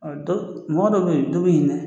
Ɔ dɔ mɔgɔ dɔ bɛ yen